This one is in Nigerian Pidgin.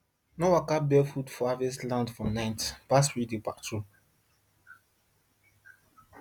no waka barefoot for harvested land at night bad spirits dey patrol